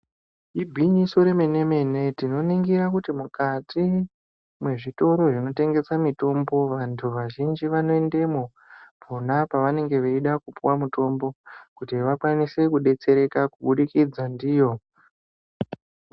Igwinyiso remene mene tinoningire kuti mukati mwezvitoro zvinotengeswa mitombo vantu vazhinji vanoendemo pona pavanenge vachida kupihwa mutombokuti vakwanise kubetsereka kubudikidza ndiyo.